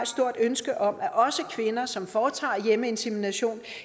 stort ønske om at også kvinder som foretager hjemmeinsemination